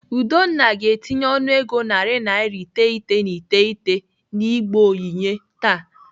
Udonna ga-etinye ọnụego naira narị iteghete na iteghete n'igbe onyinye taa.